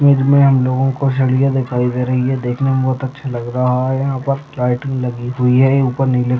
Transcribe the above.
Image में हम लोगो को सलिया दिखाई दे रही है। देखने में बहुत अच्छा लग रहा। यहाँ पर लाइटिंग लगी हुई है। ये ऊपर नीले--